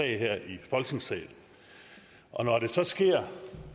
her i folketingssalen og når det så sker